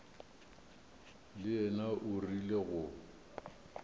le yena o rile go